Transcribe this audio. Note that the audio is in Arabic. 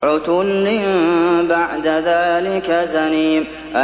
عُتُلٍّ بَعْدَ ذَٰلِكَ زَنِيمٍ